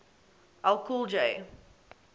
ll cool j